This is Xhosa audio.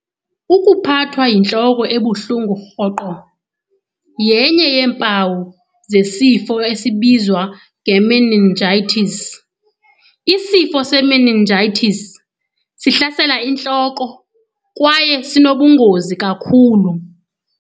Ukuphathwa yintloko ebuhlungu rhoqo yenye yeempawu zesifo esibizwa ng-meningitis. Isifo se-meningitis sihlasela intloko kwaye sinobungozi kakhulu.